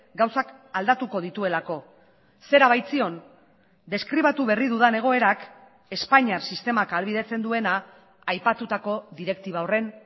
gauzak aldatuko dituelako zera baitzion deskribatu berri dudan egoerak espainiar sistemak ahalbidetzen duena aipatutako direktiba horren